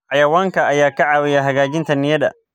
Xayawaanka ayaa ka caawiya hagaajinta niyadda.